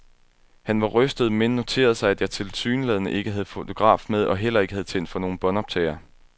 Han var rystet, men noterede sig, at jeg tilsyneladende ikke havde fotograf med, og heller ikke havde tændt for nogen båndoptager.